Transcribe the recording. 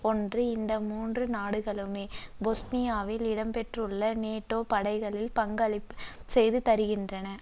ஒன்று இந்த மூன்று நாடுகளுமே பொஸ்னியாவில் இடம்பெற்றுள்ள நேட்டோ படைககளில் பங்களிப்பு செய்திருக்கின்றன